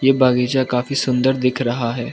ये बागीचा काफी सुंदर दिख रहा है।